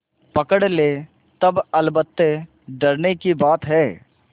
पकड़ ले तब अलबत्ते डरने की बात है